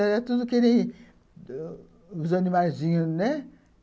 Era tudo que nem os animazinhos, né?